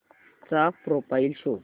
चा profile show कर